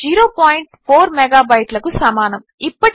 అది 0 పాయింట్ 4 మెగాబైట్లకు సమానము